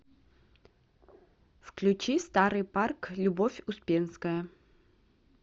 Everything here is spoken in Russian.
включи старый парк любовь успенская